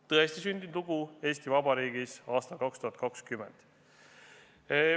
See on tõestisündinud lugu Eesti Vabariigis aastal 2020.